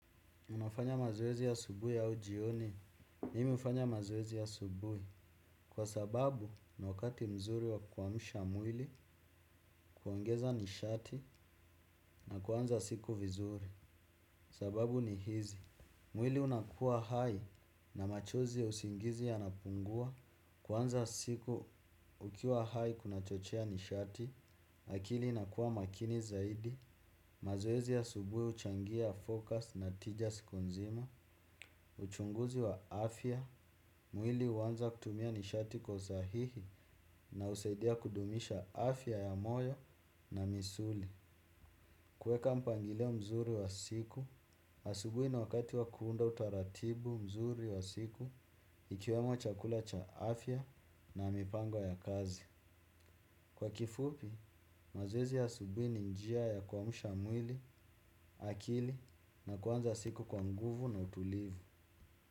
Unafanya mazoezi asubuhi ai jioni, mimi hufanya mazoezi asubuhi, kwa sababu ni wakati mzuri wa kuamsha mwili, kuongeza nishati na kuanza siku vizuri. Sababu ni hizi, mwili unakua hai na machozi ya usingizi yanapungua, kuanza siku ukiwa hai kuna chochea nishati, akili inakua makini zaidi, mazoezi ya asubuhi huchangia focus na tija siku nzima. Uchunguzi wa afya Mwili huanza kutumia nishati kwa usahihi na husaidia kudumisha afya ya moyo na misuli. Kuweka mpangilio mzuri wa siku asubuhi niwakati wa kuunda utaratibu mzuri wa siku ikiwemo chakula cha afya na mipango ya kazi. Kwa kifupi, mazoezi ya asubuhi ni njia ya kuamsha mwili akili na kuanza siku kwa nguvu na utulivu.